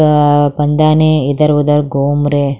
अह इधर उधर घूम रहे।